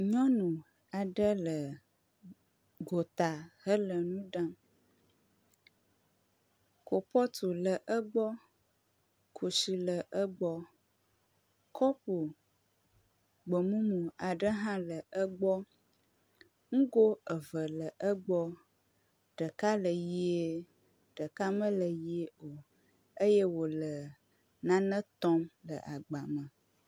Nyɔnu aɖe le gota hele nu ɖam. Kubɔtu le egbɔ, kusi le egbɔ, kɔpu gbemumu aɖe hã le egbɔ. Nugo eve le egbɔ. Ɖeka le ʋie, ɖeka mele ʋie o eye wòle nane tɔm le agba me.